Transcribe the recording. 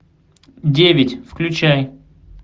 девять включай